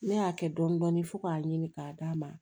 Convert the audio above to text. Ne y'a kɛ dɔndɔni fo k'a ɲini k'a d'a ma